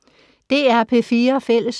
DR P4 Fælles